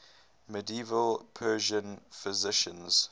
medieval persian physicians